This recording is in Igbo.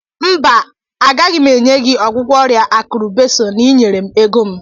mba agaghị m enye gị ọgwụgwọ ọrịa akụrụ besọ na ị nyere m ego m